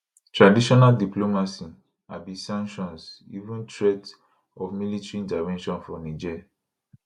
traditional diplomacy abi sanctions even threat of military intervention for niger